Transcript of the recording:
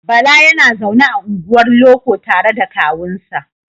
Bala yana zaune a unguwar loko tare da kawunsa.